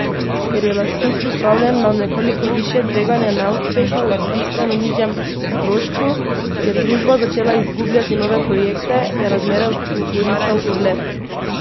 Ker je lastnik pripravljen na nekoliko višje tveganje neuspeha ob bistveno nižjem strošku, je družba začela izgubljati nove projekte, je razmere orisal Urlep.